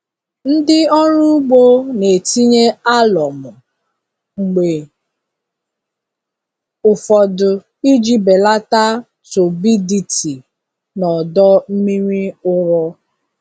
Ndị ọrụ ugbo na-etinye alụmụ mgbe ụfọdụ iji belata turbidity na ọdọ mmiri ụrọ.